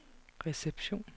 reception